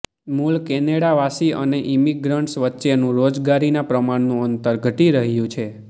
મૂળ કેનેડાવાસી અને ઈમિગ્રન્ટસ વચ્ચેનું રોજગારીના પ્રમાણનું અંતર ઘટી રહ્યું છે